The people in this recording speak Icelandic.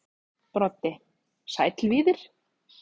Broddi: Sæll Víðir.